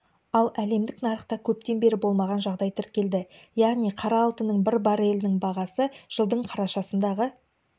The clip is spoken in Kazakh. ал әлемдік нарықта көптен бері болмаған жағдай тіркелді яғни қара алтынның бір баррелінің бағасы жылдың қарашасындағы